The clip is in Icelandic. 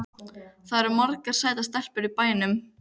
Það eru margar sætar stelpur í bænum.